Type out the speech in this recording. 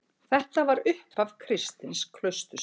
Þetta var upphaf kristins klausturlífs.